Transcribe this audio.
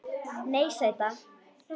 Nei, sæta.